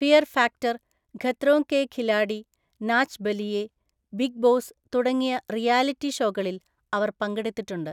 Fear factor, Khatron ke Khiladi, Nach Baliye, Bigg Boss തുടങ്ങിയ റിയാലിറ്റി ഷോകളിൽ അവർ പങ്കെടുത്തിട്ടുണ്ട്.